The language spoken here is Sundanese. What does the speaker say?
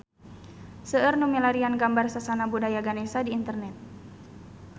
Seueur nu milarian gambar Sasana Budaya Ganesha di internet